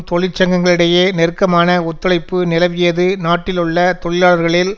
தொழிற்சங்கங்களிடையே நெருக்கமான ஒத்துழைப்பு நிலவியது நாட்டிலுள்ள தொழிலாளர்களில்